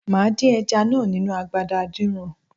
Màá dín ẹja náà nínu agbada adínran.